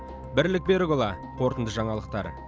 бірлік берікұлы қорытынды жаңалықтар